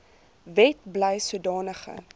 wet bly sodanige